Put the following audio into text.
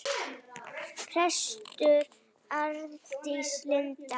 Prestur Arndís Linn.